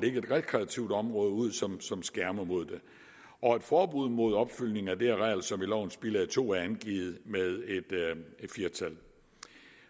lægge et rekreativt område ud som skærmer mod det og et forbud mod opfyldning af det areal som i lovens bilag to er angivet med et fire tal